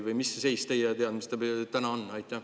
Või mis seis teie teadmiste põhjal täna on?